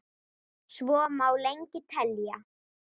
Svo má lengi telja.